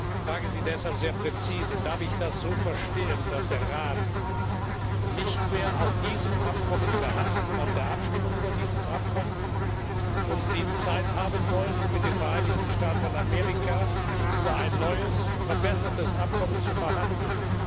Ich frage Sie deshalb sehr präzise, ob ich das so verstehen darf, dass der Rat nicht mehr auf diesem Abkommen und auf der Abstimmung über dieses Abkommen beharrt und Sie Zeit haben wollen, um mit den Vereinigten Staaten von Amerika über ein neues, verbessertes Abkommen zu verhandeln.